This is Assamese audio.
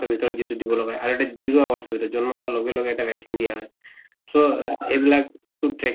ভিতৰত যিটো দিব লগা আৰু এটা যিটো zero hours ৰ, জন্ম হোৱাৰ লগে লগে এটা vaccine দিয়া হয় । so, আ এইবিলাক খুব track